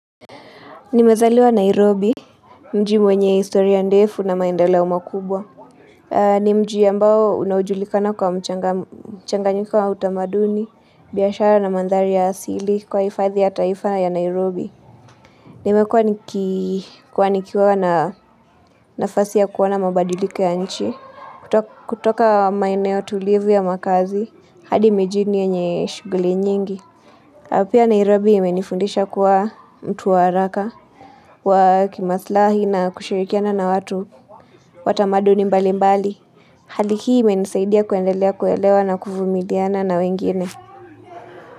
Nimezaliwa Nairobi, mji mwenye historia ndefu na maendeleo makubwa. Ni mji ambao unajulikana kwa mchanganyiko wa utamaduni, biashara na mandhari ya asili kwa hifadhi ya taifa ya Nairobi. Nimekuwa nikikuwa na nafasi ya kuona mabadiliko ya nchi. Kutoka maneo tulivu ya makazi, hadi mijini yenye shughuli nyingi. Pia Nairobi imenifundisha kuwa mtu wa haraka kwa kimasilahi na kushirikiana na watu watamaduni mbali mbali. Hali hii imenisaidia kuendelea kuelewa na kuvumiliana na wengine.